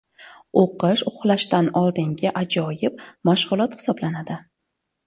O‘qish uxlashdan oldingi ajoyib mashg‘ulot hisoblanadi.